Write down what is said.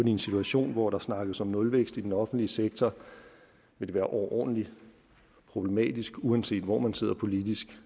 i en situation hvor der snakkes om nulvækst i den offentlige sektor være overordentlig problematisk uanset hvor man sidder politisk